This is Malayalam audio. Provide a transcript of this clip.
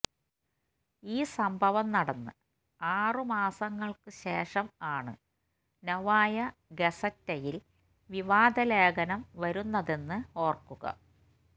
ഈ സംഭവം നടന്ന് ആറു മാസങ്ങള്ക്ക് ശേഷം ആണ് നൊവായ ഗസറ്റയില് വിവാദ ലേഖനം വരുന്നതെന്ന് ഓര്ക്കുക